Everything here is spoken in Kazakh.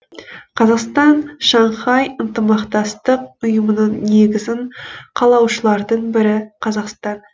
қазақстан шанхай ынтымақтастық ұйымының негізін қалаушылардың бірі қазақстан